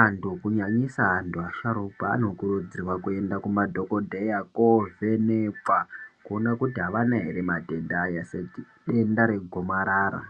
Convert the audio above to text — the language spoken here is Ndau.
antu kunyanyisa antu asharukwa anokurudzirwa kuenda kumadhokodheya kovhenekwa kuone kuti avana ere matenda aya sedenda regomarara